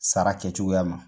Sara kɛcogoyama